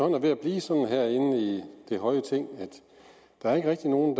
er ved at blive sådan herinde i det høje ting at der ikke rigtig er nogen